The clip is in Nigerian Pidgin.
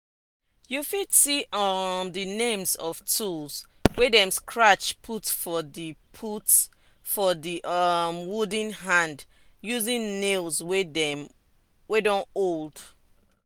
you fit see um the names of tools wey dem scratch put for the put for the um wooden hand using nails wey don old.